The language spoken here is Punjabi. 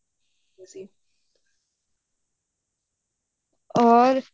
ਹੋਰ